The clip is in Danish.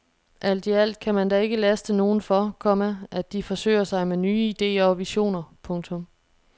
Alt i alt kan man da ikke laste nogen for, komma at de forsøger sig med nye idéer og visioner. punktum